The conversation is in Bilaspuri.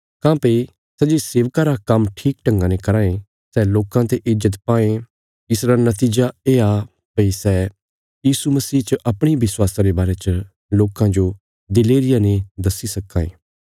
काँह्भई सै जे सेवका रा काम्म ठीक ढंगा ने कराँ ये सै लोकां ते ईज्जत पांये इसरा नतीजा येआ भई सै यीशु मसीह च अपणे विश्वासा रे बारे च लोकां जो दिलेरिया ने दस्सी सक्कां ये